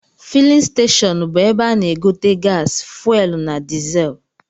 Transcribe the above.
Filin steshọnụ bụ ebe a na-egote gasi, fuelu na dịzel